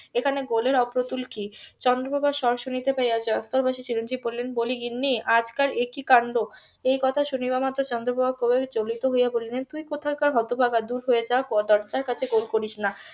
এখানে গোলের অপ্রতুল কি চন্দ্রপ্রভা সব শুনিতে পাইয়া . চিরঞ্জিব বলিলেন বলি গিন্নি আজকাল এ কি কান্ড একথা শুনিবা মাত্র চন্দ্রপ্রভা বিচলিত হইয়া বলিলেন তুই কোথাকার হতভাগা দূর হয়ে যা দরজার কাছে গোল করিস না